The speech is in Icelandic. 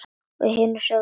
Og hinir sögðu: